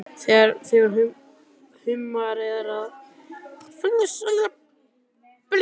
Þegar húmar að fer hann aftur á stjá.